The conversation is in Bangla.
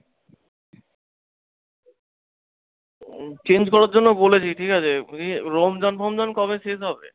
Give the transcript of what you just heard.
change করার জন্য বলেছি ঠিকাছে, রমজান ফমজান কবে শেষ হবে?